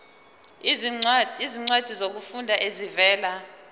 izincwadi zokufunda ezivela